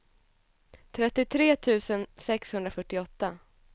trettiotre tusen sexhundrafyrtioåtta